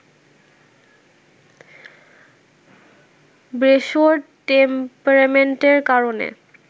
ব্রেসোর টেম্পারমেন্টের কারণে